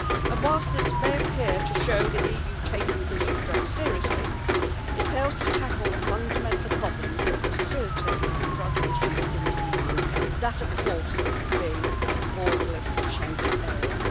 And whilst this may appear to show the EU taking the issue of drugs seriously, it fails to tackle the fundamental problems that facilitate the drug issues in the EU that, of course, being the borderless Schengen area.